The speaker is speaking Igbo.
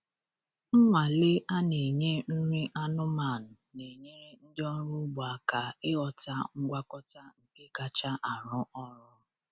Nnwale a na-enye nri anụmanụ na-enyere ndị ọrụ ugbo aka ịghọta ngwakọta nke kacha arụ ọrụ.